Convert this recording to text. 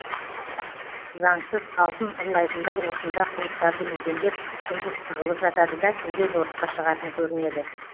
заңсыз алтын ұрлайтындар осында қуыстарды мекендеп күндіз тығылып жатады да түнде жорыққа шығатын көрінеді